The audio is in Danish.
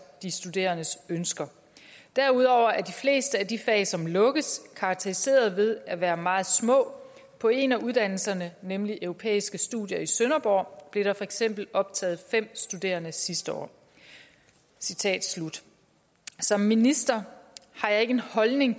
de studerendes ønsker derudover er de fleste af de fag som lukkes karakteriseret ved at være meget små på en af uddannelserne nemlig europæiske studier i sønderborg blev der for eksempel optaget fem studerende sidste år citat slut som minister har jeg ikke en holdning